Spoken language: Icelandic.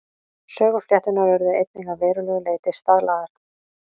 Söguflétturnar urðu einnig að verulegu leyti staðlaðar.